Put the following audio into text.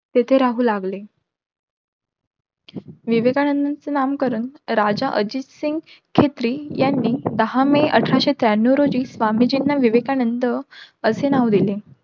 तेथे राहू लागले. विवेकानंदांचे नामकरण राजा अजित सिंग यांनी दहा मे अठराशे त्र्यानऊ रोजी स्वामीजींना विवेकानंद असे नाव दिले.